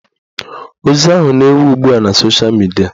Ozi ahụ na-ewu ugbua na sosha midia